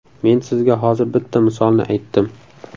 Men sizga hozir bitta misolni aytdim.